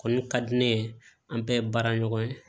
Kɔni ka di ne ye an bɛɛ ye baara ɲɔgɔn ye